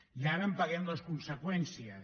i ara en paguem les conseqüències